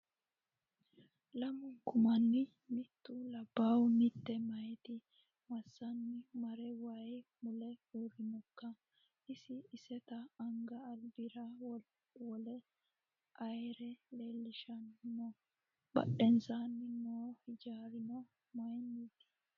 Lamunku manni mittu labbahu mitte meyaati massanni mare wayii mule uurrinokka? Isi iseta anga alibira wole ayeera leellishshanni noo? Badheensaanni noo hijaarrano mayiinite?